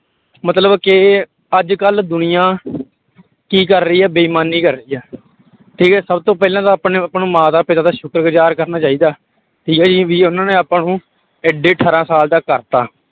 ਮਤਲਬ ਕਿ ਅੱਜ ਕੱਲ੍ਹ ਦੁਨੀਆਂ ਕੀ ਕਰ ਰਹੀ ਹੈ ਬੇਈਮਾਨੀ ਕਰ ਰਹੀ ਹੈ ਠੀਕ ਹੈ ਸਭ ਤੋਂ ਪਹਿਲਾਂ ਤਾਂ ਆਪਾਂ ਨੇ ਆਪਾਂ ਨੂੰ ਮਾਤਾ ਪਿਤਾ ਦਾ ਸ਼ੁਕਰ ਗੁਜ਼ਾਰ ਕਰਨਾ ਚਾਹੀਦਾ, ਠੀਕ ਹੈ ਜੀ ਵੀ ਉਹਨਾਂ ਨੇ ਆਪਾਂ ਨੂੰ ਇੱਡੇ ਅਠਾਰਾਂ ਸਾਲ ਦਾ ਕਰ ਦਿੱਤਾ।